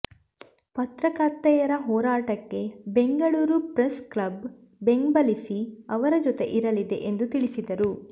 ಪತ್ರಕರ್ತೆಯರ ಹೋರಾಟಕ್ಕೆ ಬೆಂಗಳೂರು ಪ್ರೆಸ್ಕ್ಲಬ್ ಬೆಂಬಲಿಸಿ ಅವರ ಜೊತೆ ಇರಲಿದೆ ಎಂದು ತಿಳಿಸಿದರು